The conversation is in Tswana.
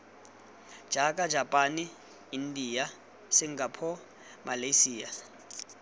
jaaka japane india singapore malyasia